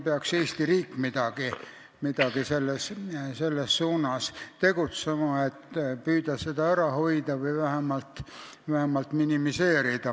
Eesti riik peaks selles suunas tegutsema, et püüda seda ära hoida või vähemalt minimeerida.